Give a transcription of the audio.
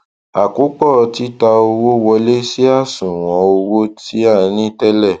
àkópọ títa owó wọlé sí àṣùwọn owó tí a ní tẹlẹ